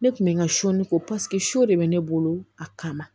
Ne kun bɛ n ka soni ko paseke so de bɛ ne bolo a kama